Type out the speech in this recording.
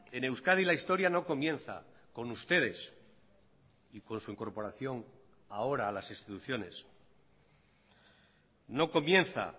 en euskadi la historia no comienza con ustedes y con su incorporación ahora a las instituciones no comienza